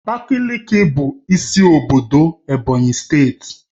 Abakaliki bụ isi obodo Ebonyi steeti